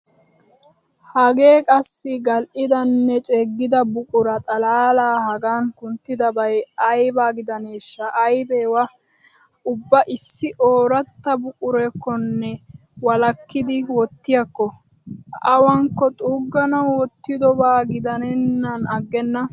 Hagee qassi gal"idanne ceeggida buquraa xalaalaa hagan kunttidabay ayba gidaneeshsha, aybee. waa ubba issi ooratta buquraakkonne walakkidi wottiyakko. Awankko xuugganawu wottidobaa gidennan aggenna.